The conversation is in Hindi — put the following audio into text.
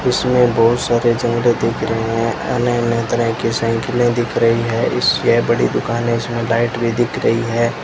इसमें बहुत सारे जंगले दिख रहे हैं अनेक अनेक तरह की साइकिलें दिख रही हैं इसलिए बड़ी दुकान है इसमें लाइट भी दिख रही है।